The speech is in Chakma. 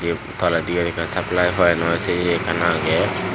yot toledi ye ekkan supply point o se ye ekkan agey.